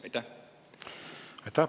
Aitäh!